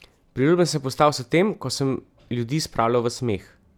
Priljubljen sem postal s tem, ko sem ljudi spravljal v smeh.